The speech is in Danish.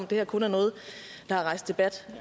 det her kun er noget der har rejst debat